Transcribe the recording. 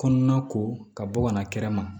Kɔnɔna ko ka bɔ ka na kɛrɛma